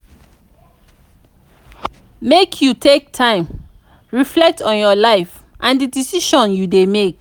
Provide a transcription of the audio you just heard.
make you take time reflect on your life and di decisions you dey make.